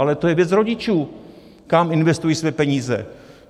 Ale to je věc rodičů, kam investují svoje peníze.